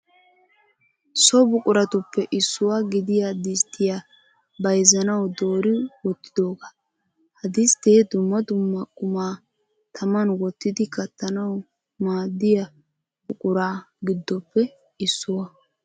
So buquratuppe issuwa gidiya disttiya bayizzanawu doori wottidoogaa. Ha disttee dumma dumma qumaa taman wottidi kattanawu maaddiya buqura giddoppe issuwa.